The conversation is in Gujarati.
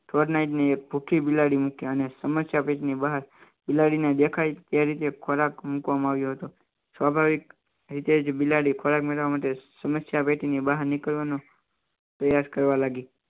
ગુડ નાઈટની એક ભુખી બિલાડી મૂકી અને સમસ્યાપીઠની બહાર બિલાડીને દેખાય તે રીતે ખોરાક મુકવામાં આવ્યો હતો સ્વાભાવિક રીતે બિલાડી ખોરાક મેળવવા માટે સમસ્યા પેટી ની બહાર નીકળવાનો પ્રયાસ કરવા લાગી